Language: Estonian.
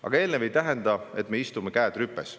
Aga eelnev ei tähenda, et me istume käed rüpes.